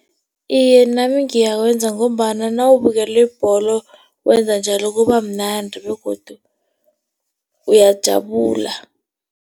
Iye, nami ngiyawenza ngombana nawubukele ibholo wenza njalo kubamnandi begodu uyajabula.